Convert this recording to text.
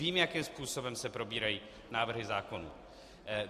Vím, jakým způsobem se probírají návrhy zákonů.